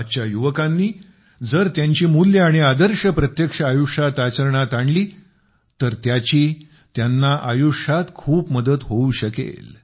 आजच्या युवकांनी जर त्यांची मूल्ये आणि आदर्श प्रत्यक्ष आयुष्यात आचरणात आणली तर त्याची त्यांना खूप आयुष्यात खूप मदत होऊ शकेल